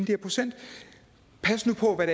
her procenter pas nu på hvad